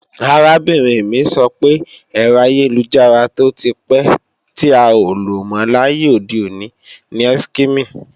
Arábìnrin mi sọ pé, ẹ̀rọ ayélujára tó ti pẹ́ tí a ò lò mọ́ láyé òde òní ni Eskimi